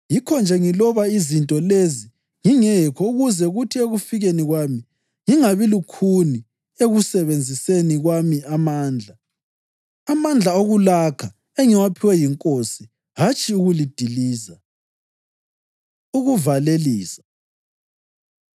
Yikho-nje ngiloba izinto lezi ngingekho ukuze kuthi ekufikeni kwami ngingabi lukhuni ekusebenziseni kwami amandla, amandla okulakha engiwaphiwe yiNkosi hatshi ukulidiliza. Ukuvalelisa